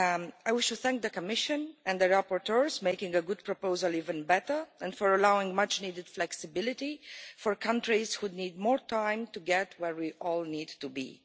I wish to thank the Commission and the rapporteurs for making a good proposal even better, and for allowing much-needed flexibility for countries that need more time to get to where we all need to be.